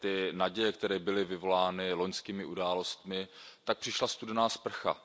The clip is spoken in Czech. Ty naděje, které byly vyvolány loňskými událostmi, tak přišla studená sprcha.